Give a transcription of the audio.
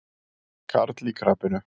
Karl í krapinu.